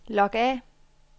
log af